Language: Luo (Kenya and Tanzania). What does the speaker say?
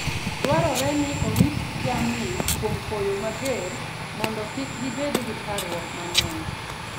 Dwarore ni orit jamni kuom koyo mager mondo kik gibed gi parruok mang'eny.